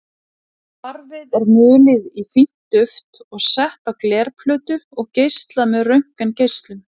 Svarfið er mulið í fínt duft og sett á glerplötu og geislað með röntgengeislum.